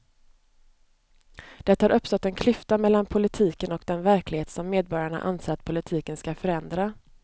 Det har uppstått en klyfta mellan politiken och den verklighet som medborgarna anser att politiken ska förändra.